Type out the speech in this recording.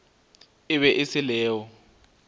e be e se leo